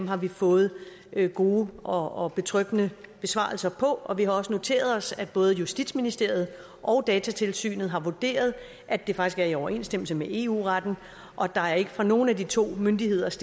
har vi fået gode og betryggende besvarelser på og vi har også noteret os at både justitsministeriet og datatilsynet har vurderet at det faktisk er i overensstemmelse med eu retten og der er ikke fra nogen af de to myndigheders